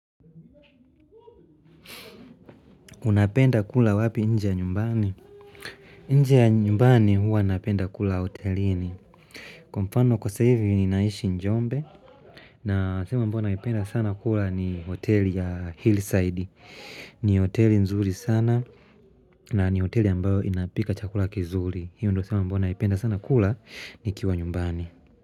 Unapenda kula wapi nje ya nyumbani nje ya nyumbani huwa napenda kula hotelini Kwa mafanao sasa hivi ninaishi Njombe na sehemu amabo ninaipenda sana kula ni hoteli ya hillside ni hoteli nzuri sana na ni hoteli ambayo inapika chakula kizuri hiyo ndo sehemu amabyo ninaipenda sana kula nikiwa nyumbani.